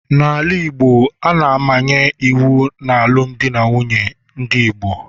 n'ala Igbo, a na-amanye iwu n'alụmdi na nwunye ndị Igbo